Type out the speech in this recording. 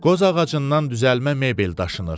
Qoz ağacından düzəlmə mebel daşınır.